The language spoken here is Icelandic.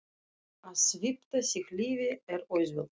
Að svipta sig lífi er auðvelt.